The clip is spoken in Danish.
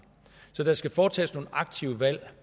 så der skal foretages nogle aktive valg